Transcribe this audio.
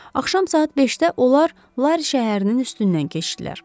Axşam saat 5-də onlar Lari şəhərinin üstündən keçdilər.